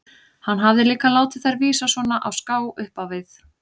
Hann hafði líka látið þær vísa svona á ská upp á við.